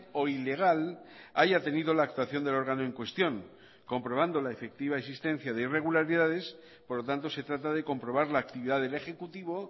o ilegal haya tenido la actuación del órgano en cuestión comprobando la efectiva existencia de irregularidades por lo tanto se trata de comprobar la actividad del ejecutivo